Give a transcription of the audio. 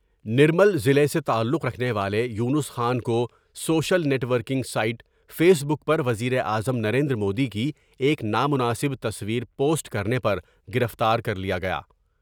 نرمل ضلع سے تعلق رکھنے والے یونس خان کو social net working site face بک پر وزیراعظم نریندرمودی کی ایک نامناسب تصویر پوسٹ کرنے پر گرفتار کر لیا گیا ۔